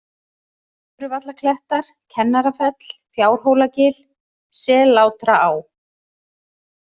Möðruvallaklettar, Kennarafell, Fjárhólagil, Sellátraá